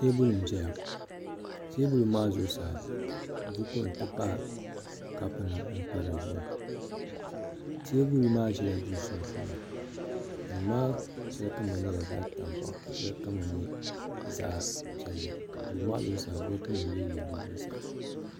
teebuli n-ʒeya teebuli maa zuɣusaa bukunima nti pahi kaapunima m-pa di zuɣu teebuli maa ʒila duu sunsuuni duu maa shɛli kama nyɛla zaɣ' tankpaɣu ka shɛli kama nyɛ zaɣ' piɛlli duu maa zuɣusaa bolipunima yili yili di zuɣusaa.